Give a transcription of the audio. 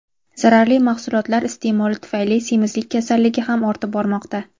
zararli mahsulotlar iste’moli tufayli semizlik kasalligi ham ortib bormoqda.